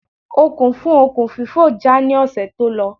Okùn fún okùn fífò já ní ọ̀sẹ̀ tó lọ